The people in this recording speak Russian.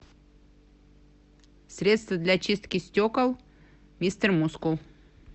средство для чистки стекол мистер мускул